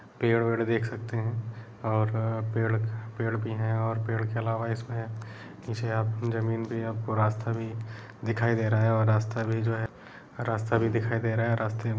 पेड़ वेड़ देख सकते हैं और पेड़ पेड़ भी हैं और पेड़ के अलावा इसमें पीछे आप जमीन भी है आपको रास्ता भी दिखाई दे रहा है और रास्ता भी जो है रास्ता भी दिखाई रहा है रास्ते --